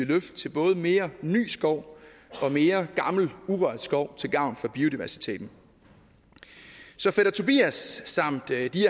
løft til både mere ny skov og mere gammel urørt skov til gavn for biodiversiteten så fætter tobias samt de af